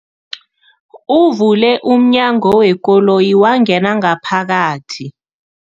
Uvule umnyango wekoloyi wangena ngaphakathi.